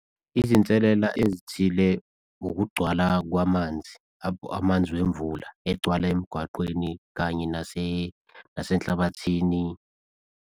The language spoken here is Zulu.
Izinselela ezithile, ukugcwala kwamanzi, amanzi wemvula egcwala emgwaqeni kanye nasenhlabathini.